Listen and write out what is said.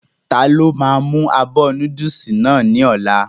Ta ló máa mú abọ́ núdùsì náà ní ọ̀la?